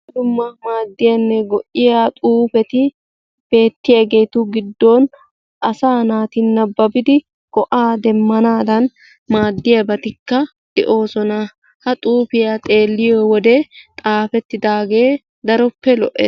dumma dumma madiyaanne go"iyaa xuufeti beetiyaagetu giddon asaa naati nabbabidi go"aa demanaadan maadiyaabatika de'oosona. ha xuufiyaa xeeliyoo wode xaafetidagee daroppe lo"ees.